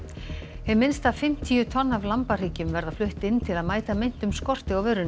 hið minnsta fimmtíu tonn af lambahryggjum verða flutt inn til að mæta meintum skorti á vörunni